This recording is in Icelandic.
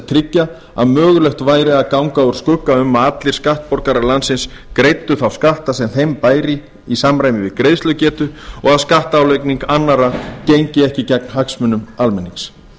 tryggja að mögulegt væri að ganga úr skugga um að allir skattborgarar landsins greiddu þá skatta sem þeim bæri í samræmi við greiðslugetu og að skattálagning annarra gengi ekki gegn hagsmunum almennings